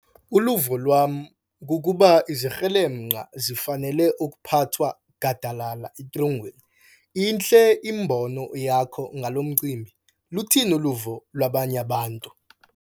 Uluvo lwam kukuba izikrelemnqa zifanele ukuphathwa gadalala etrongweni. intle imbono yakho ngalo mcimbi, luthini uluvo lwabanye abantu?